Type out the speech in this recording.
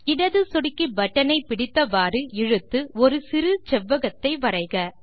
இடது சொடுக்கி பட்டன் ஐ பிடித்தவாறு இழுத்து ஒரு சிறு செவ்வகத்தை வரைக